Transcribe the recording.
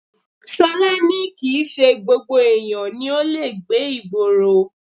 Ṣọlá ní kìí ṣe gbogbo èèyàn ni ó le gbé ìgboro